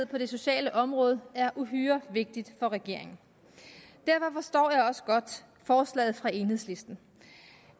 på det sociale område er uhyre vigtig for regeringen derfor forstår jeg også godt forslaget fra enhedslisten